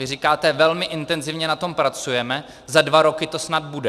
Vy říkáte: velmi intenzivně na tom pracujeme, za dva roky to snad bude.